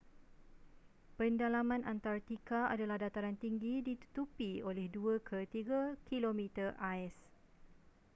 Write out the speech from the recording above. pendalaman antartika adalah dataran tinggi ditutupi oleh 2-3 km ais